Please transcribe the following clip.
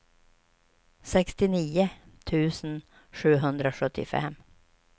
sextionio tusen sjuhundrasjuttiofem